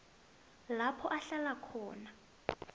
lapho uhlala khona